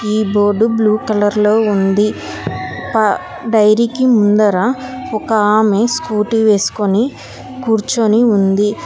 ఈ board blue colour లో ఉంది. ప డైరీ కి ముందర ఒక ఆమె స్కూటీ వేసుకుని కూర్చొని ఉంది.